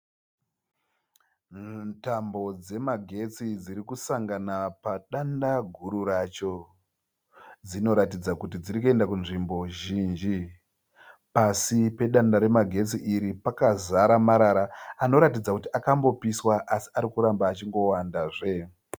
Tambo dzemagetsi dzirikusangana padanda guru racho. Dzinoratidza kuti dzirikuenda kunzvimbo zhinji. Pasi pedanda remagetsi iri pakazara marara anoratidza kuti akambopiswa asi arikutamba achinongowandazve.